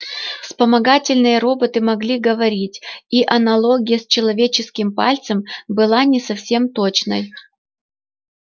вспомогательные роботы могли говорить и аналогия с человеческим пальцем была не совсем точной